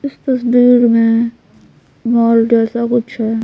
इस तस्वीर में मॉल जैसा कुछ है ।